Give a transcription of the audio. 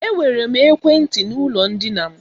Ee, enwere m ekwentị n'ụlọ ndina m.